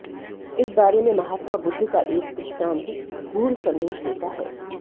इस बारे में महात्मा बुद्ध का एक दृष्टांत गूढ़ संदेश देता है